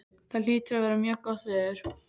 Það hlýtur að vera mjög gott veður.